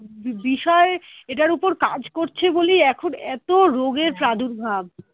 বিষয় এটার ওপর কাজ করছে বলেই এখন এত রোগের পাদুর্ভাব